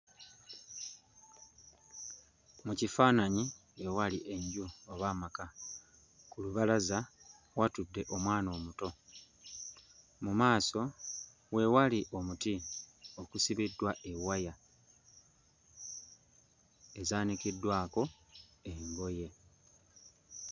Mu kifaananyi ewali enju oba amaka. Ku lubalaza watudde omwana omuto. Mu maaso we wali omuti okusibiddwa ewaya ezaanikiddwako engoye.